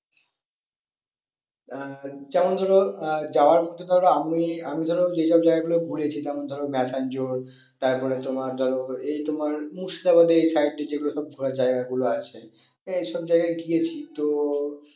আহ যেমন ধরো আহ যাওয়ার মধ্যে ধরো আমি, আমি ধরো যে সব জায়গা গুলো ঘুরেছি যেমন ধরো তারপরে তোমার ধরো এই তোমার মুর্শিদাবাদের এই side দিয়ে যেই গুলো সব ঘোড়ার জায়গা গুলো আছে আহ এই সব জায়গায় গিয়েছি তো